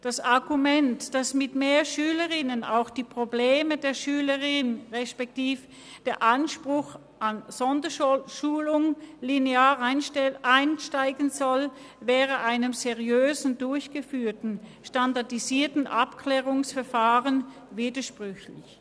Das Argument, dass mit mehr Schülerinnen und Schüler auch die Probleme der Schülerinnen und Schüler beziehungsweise der Anspruch auf Sonderschulung linear ansteigen soll, stünde mit einem seriös durchgeführten SAV im Widerspruch.